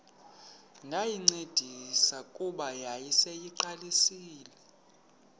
ndayincedisa kuba yayiseyiqalisile